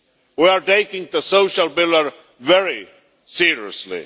We are taking the social pillar very seriously.